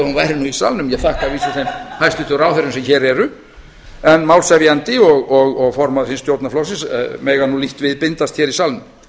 nú í salnum ég þakka að vísu þeim hæstvirtu ráðherrum sem hér eru en málshefjandi og formaður hins stjórnarflokksins mega nú lítt við bindast hér í salnum